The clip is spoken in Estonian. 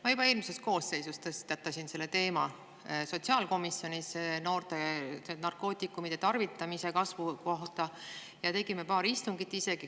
Ma juba eelmises koosseisus tõstatasin sotsiaalkomisjonis teema, et noored on hakanud rohkem narkootikume tarvitama, ja tegime paar istungit.